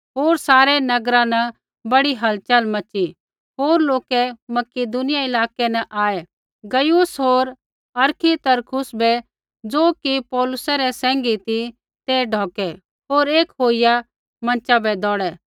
होर सारै नगरा न बड़ी हलचल मच़ी होर लोकै मकिदुनिया इलाकै न आऐ गयुस होर अरिस्तर्खुस बै ज़ो कि पौलुसै सैंघी ती ते ढौकै होर एक होईया मँचा बै दौड़ै